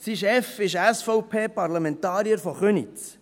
Sein Chef ist SVP-Parlamentarier aus Köniz.